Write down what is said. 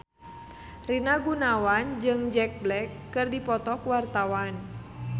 Rina Gunawan jeung Jack Black keur dipoto ku wartawan